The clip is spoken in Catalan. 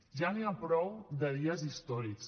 ja n’hi ha prou de dies històrics